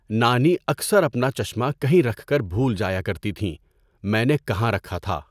نانی اکثر اپنا چشمہ کہیں رکھ کر بھول جایا کرتی تھیں، میں نے کہاں رکھا تھا؟